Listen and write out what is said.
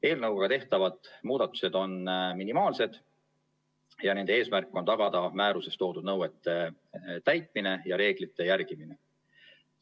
Eelnõuga tehtavad muudatused on minimaalsed ja nende eesmärk on tagada määruses toodud nõuete täitmine ja reeglite järgimine.